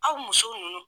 Aw muso ninnu